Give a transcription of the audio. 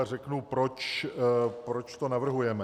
A řeknu, proč to navrhujeme.